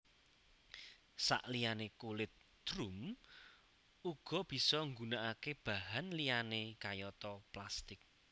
Saliyane kulit drum uga bisa nggunakake bahan liyane kayata plastik